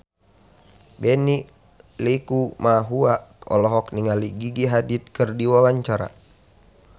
Benny Likumahua olohok ningali Gigi Hadid keur diwawancara